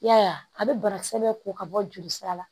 I y'a ye a bɛ banakisɛ bɛ ko ka bɔ joli sira la